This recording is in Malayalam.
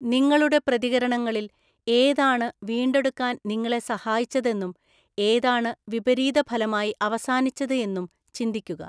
നിങ്ങളുടെ പ്രതികരണങ്ങളിൽ ഏതാണ് വീണ്ടെടുക്കാൻ നിങ്ങളെ സഹായിച്ചതെന്നും ഏതാണ് വിപരീതഫലമായി അവസാനിച്ചത് എന്നും ചിന്തിക്കുക.